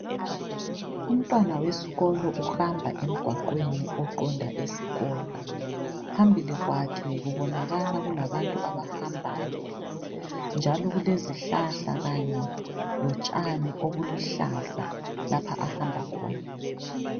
Umntwana wesikolo uhamba emgwaqweni oqonda esikolo. Phambili kwakhe kubonakala kulabantu abahambayo njalo kulezihlahla kanye lotshani obuluhlaza lapha ahamba khona.